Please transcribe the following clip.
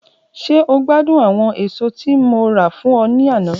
Ṣe o gbadun awọn eso ti Mo ra fun ọ ni ana?